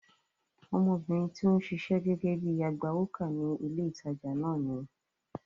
Ọmọbìnrin tí ó ń ṣiṣẹ́ gẹ́gẹ́ bíi agbawókà ní ilé ìtajà náà nìyẹn.